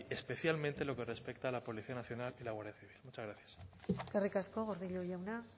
especialmente en lo que respecta a la policía nacional y la guardia civil muchas gracias eskerrik asko gordillo jauna